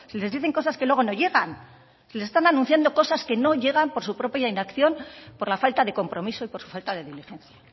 les dicen cosas que luego no llegan si les están anunciando cosas que no llegan por su propia inacción por la falta de compromiso y por la falta de diligencia